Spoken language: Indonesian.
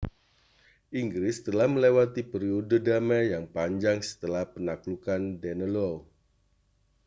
inggris telah melewati periode damai yang panjang setelah penaklukan danelaw